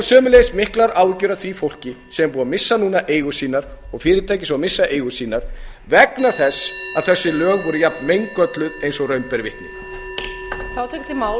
sömuleiðis miklar áhyggjur af því fólki sem er búið að missa núna eigur sínar og fyrirtækja sem missa eigur sínar vegna þess að þessi lög voru jafn meingölluð eins og raun ber vitni